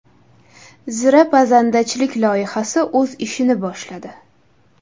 Zira pazandachilik loyihasi o‘z ishini boshladi.